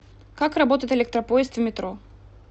как работает электропоезд в метро